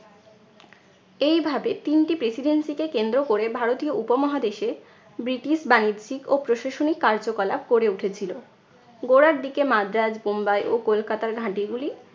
এইভাবে তিনটি presidency কে কেন্দ্র কোরে ভারতীয় উপমহাদেশে ব্রিটিশ বাণিজ্যিক ও প্রশাসনিক কার্যকলাপ গড়ে উঠেছিল। গোড়ার দিকে মাদ্রাজ বোম্বাই ও কলকাতার ঘাঁটিগুলি